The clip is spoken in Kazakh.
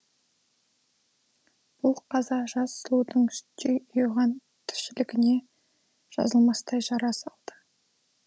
бұл қаза жас сұлудың сүттей ұйыған тіршілігіне жазылмастай жара салды